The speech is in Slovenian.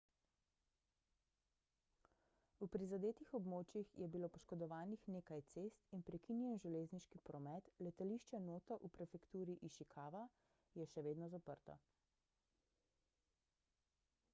v prizadetih območjih je bilo poškodovanih nekaj cest in prekinjen železniški promet letališče noto v prefekturi išikava je še vedno zaprto